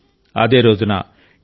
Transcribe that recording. అదే రోజున యు